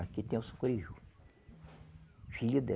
Aqui tem o Sucuriju, filho dé